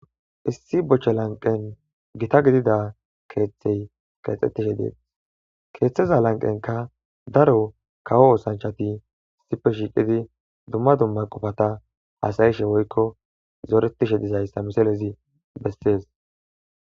issi boche lanqen gitta gididda keeththey keexettidi dees keeththeza lanqenkka daro kawo oosanchati issippe shiiqidi dumma dumma qofatta hasayishe woykko zooretishe dizayssa miselezi bessees